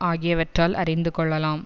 ஆகியவற்றால் அறிந்து கொள்ளலாம்